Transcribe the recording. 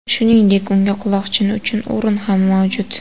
Shuningdek, unda quloqchin uchun o‘rin ham mavjud.